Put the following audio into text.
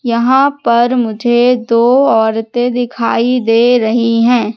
यहां पर मुझे दो औरतें दिखाई दे रही हैं।